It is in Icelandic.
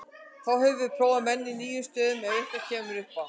Þá höfum við prófað menn í nýjum stöðum ef eitthvað kemur upp á.